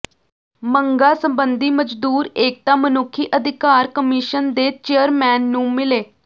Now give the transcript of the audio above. ਮੰਗਾ ਸਬੰਧੀ ਮਜ਼ਦੂਰ ਏਕਤਾ ਮਨੁੱਖੀ ਅਧਿਕਾਰ ਕਮਿਸ਼ਨ ਦੇ ਚੇਅਰਮੈਨ ਨੂੰ ਮਿਲੇ